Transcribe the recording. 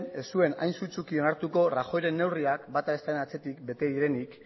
ez zuen hain sutsuki onartuko rajoyren neurriak bata bestearen atzetik bete direnik